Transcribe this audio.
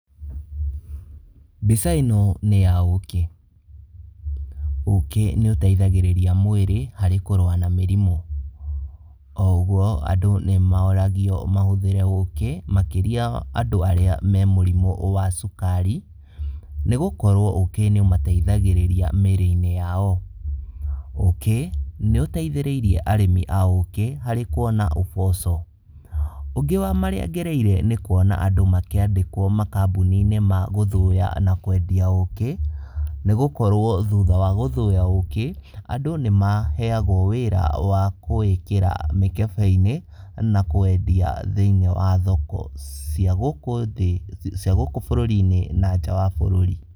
Mbica ĩno nĩ ya ũkĩ. Ũkĩ nĩũteithagĩrĩria mwĩrĩ harĩ kũrũa na mĩrimũ. O ũguo andũ nĩmoragio mahũthĩre ũkĩ makĩria andũ arĩa me mũrimũ wa cukari nĩgũkorwo ũkĩ nĩ ũmateithagĩrĩria mĩrĩ-inĩ yao. Ũkĩ nĩũteithĩrĩirie arĩmi a ũkĩ harĩ kuona ũboco. Ũngĩ ma marĩa ngereire nĩ kuona andũ makĩandĩkwo makambũni-inĩ ma gũthũya na kwendia ũkĩ, nĩgũkorwo thutha wa gũthũya ũkĩ, andũ nĩmaheagwo wĩra wa kũwĩkĩra mĩkebe-inĩ na kũwendia thĩiniĩ wa thoko cia gũkũ thĩ, cia gũkũ bũrũri-inĩ na nja wa bũrũri.